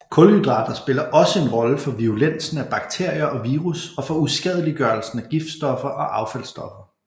Kulhydrater spiller også en rolle for virulensen af bakterier og virus og for uskadeliggørelsen af giftstoffer og affaldsstoffer